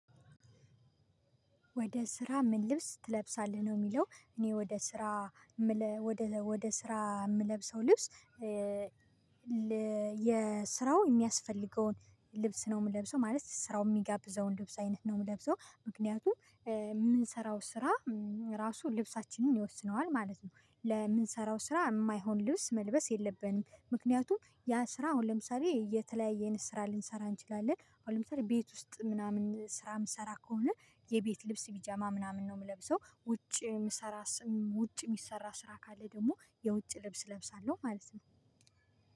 ወደ ስራ ምን ልብስ ትለብሳለህ ነው የሚለው? እኔ ወደ ስራ ወደ ስራ የምለብሰው ልብስ የስራው የሚያስፈልገውን ልብስ ነው የምለብሰው ማለት ስራው የሚጋብዘውን ልብስ አይነት ነው የምለብሰው። ምክንያቱም የምንሰራው ስራ ራሱ ልብሳችንን ይወስነዋል ማለት ነው። ለምንሰራው ስራ የማይሆን ልብስ መልበስ የለብንም። ምክንያቱም ያ ስራ አሁን ለምሳሌ የተለያየን ስራ ልንሰራ እንችላለን። አሁን ለምሳሌ ቤት ውስጥ ምናምን ስራ የምንሰራ ከሆነ የቤት ልብስ ፒጃማ ምናምን ነው የምለብሰው። ውጪ የሚሰራስ ውጪ የሚሰራ ስራ ካለ ደግሞ የውጭ ልብስ እለብሳለሁ ማለት ነው።